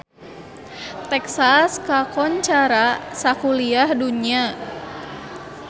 Texas kakoncara sakuliah dunya